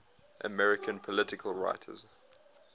american political writers